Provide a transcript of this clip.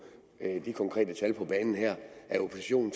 de konkrete tal på banen her at oppositionen